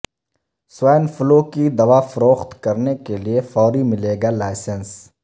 swine فلوکی د وافروخت کرنے کے لئے فوری ملے گا لائسنس